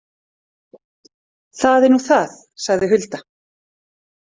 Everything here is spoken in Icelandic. Það er nú það, sagði Hulda.